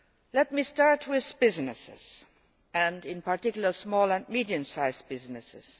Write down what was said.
Let me start with businesses, and in particular small and medium sized businesses.